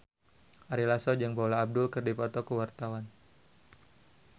Ari Lasso jeung Paula Abdul keur dipoto ku wartawan